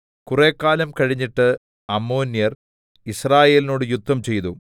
കുറെക്കാലം കഴിഞ്ഞിട്ട് അമ്മോന്യർ യിസ്രായേലിനോട് യുദ്ധംചെയ്തു